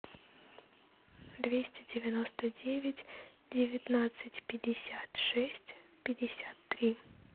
двести девяносто девять девятнадцать пятьдесят шесть пятьдесят три